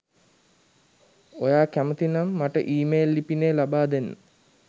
ඔයා කැමති නම් මට ඊමේල් ලිපිනය ලබාදෙන්න